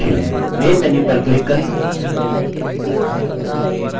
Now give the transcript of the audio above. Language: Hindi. main menu पर क्लिक करें